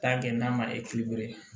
Taa kɛ n'a ma